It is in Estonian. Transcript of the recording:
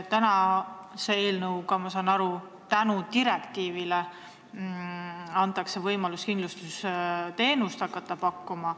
Eelnõuga, ma saan nii aru, antakse tänu direktiivile neile võimalus hakata kindlustusteenust pakkuma.